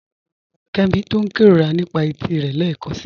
Kẹ́mí túń n kẹróra nípa ètí rẹ lẹ́kansi